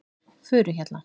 Furuhjalla